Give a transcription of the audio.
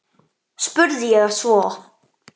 spurði ég svo.